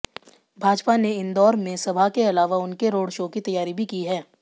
भाजपा ने इंदौर में सभा के अलावा उनके रोड शो की तैयारी भी की है